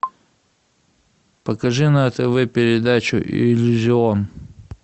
покажи на тв передачу иллюзион